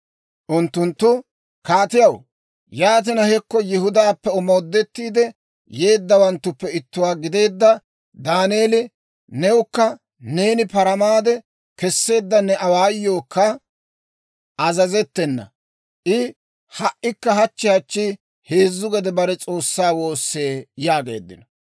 Unttunttu, «Kaatiyaw, yaatina hekko Yihudaappe omoodettiide, yeeddawanttuppe ittuwaa gidiyaa Daaneeli, newukka neeni paramaade kesseedda ne awaayookka azazettena. I ha"ikka hachchi hachchi heezzu gede bare S'oossaa woossee» yaageeddino.